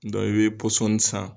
i bɛ pɔsɔni san